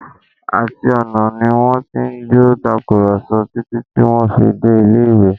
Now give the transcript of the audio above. Àti ọ̀nà ni wọ́n ti jọ ń tàkùrọ̀sọ títí tí wọ́n fi dé ilé-ìwé